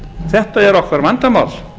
þetta er okkar vandamál